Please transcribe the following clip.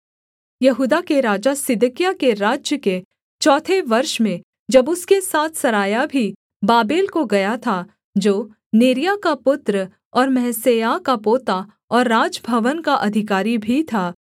यहूदा के राजा सिदकिय्याह के राज्य के चौथे वर्ष में जब उसके साथ सरायाह भी बाबेल को गया था जो नेरिय्याह का पुत्र और महसेयाह का पोता और राजभवन का अधिकारी भी था